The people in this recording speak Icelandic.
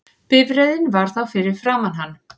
Bifreiðin var þá fyrir framan hann